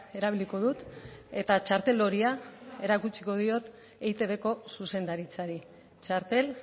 erabiliko dut eta txartel horia erakutsiko diot eitbko zuzendaritzari txartel